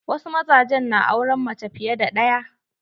Wasu mazajen na auren mace fiye da ɗaya.